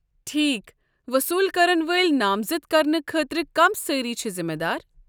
ٹھیکھ، وصوٗل كرن وٲلۍ نامزد کرنہٕ خٲطرٕ کم سٲری چھِ ذمہٕ دار؟